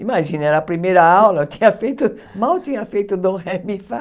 Imagina, era a primeira aula, eu tinha feito, mal tinha feito Dó Ré Mi Fá.